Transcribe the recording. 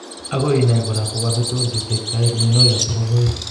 Akoi inai kora akopo amitwoki chetektai mianwokikab soromoik